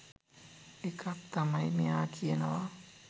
එකක් තමයි මෙයා කියනවා